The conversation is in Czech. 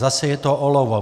Zase je to olovo.